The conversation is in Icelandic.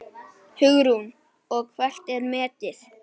Hugrún: Og hvert er metið?